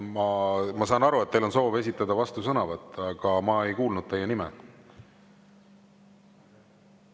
Ma saan aru, et teil on soov esitada vastusõnavõtt, aga ma ei kuulnud teie nime.